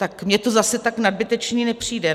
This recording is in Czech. Tak mně to zase tak nadbytečné nepřijde.